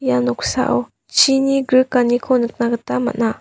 ia noksao chini grikaniko nikna gita man·a.